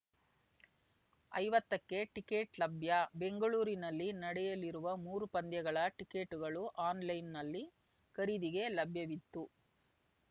ಐವತ್ತಕ್ಕೆ ಟಿಕೆಟ್‌ ಲಭ್ಯ ಬೆಂಗಳೂರಿನಲ್ಲಿ ನಡೆಯಲಿರುವ ಮೂರು ಪಂದ್ಯಗಳ ಟಿಕೆಟ್‌ಗಳು ಆನ್‌ಲೈನ್‌ನಲ್ಲಿ ಖರೀದಿಗೆ ಲಭ್ಯವಿದ್ದು